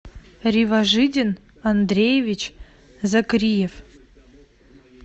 риважидин андреевич закриев